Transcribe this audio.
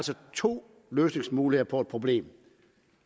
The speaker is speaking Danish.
to løsningsmuligheder på et problem